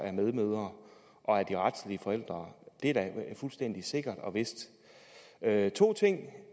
er medmødre og de retlige forældre er da fuldstændig sikkert og vist der er to